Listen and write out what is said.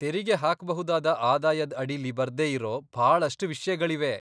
ತೆರಿಗೆ ಹಾಕ್ಬಹುದಾದ ಆದಾಯದ್ ಅಡಿಲಿ ಬರ್ದೇ ಇರೋ ಭಾಳಷ್ಟ್ ವಿಷ್ಯಗಳಿವೆ.